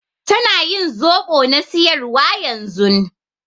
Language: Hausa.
Tana ƴin zobo na siƴarwa ƴanzun.